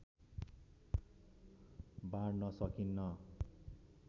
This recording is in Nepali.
बाँड्न सकिन्न